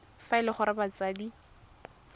fa e le gore batsadi